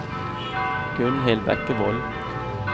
Gunnhild Bekkevold